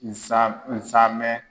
Nsa nsamɛn.